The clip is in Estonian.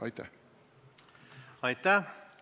Aitäh!